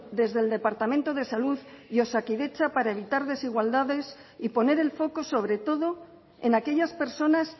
desde el departamento de salud y osakidetza para evitar desigualdades y poner el foco sobre todo en aquellas personas